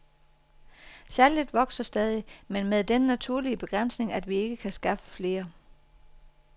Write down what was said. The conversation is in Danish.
Salget vokser stadig, men med den naturlige begrænsning, at vi ikke kan skaffe flere.